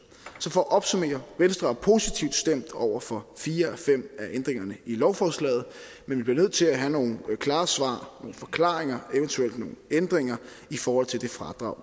så for at opsummere venstre er positivt stemt over for fire af fem af ændringerne i lovforslaget men vi bliver nødt til at have nogle klare svar nogle forklaringer eventuelt nogle ændringer i forhold til det fradrag